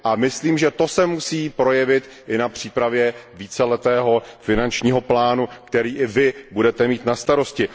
Myslím, že to se musí projevit i při přípravě víceletého finančního plánu, který i vy budete mít na starosti.